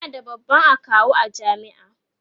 ana da babban akawu a jami'a